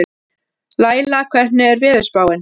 Laíla, hvernig er veðurspáin?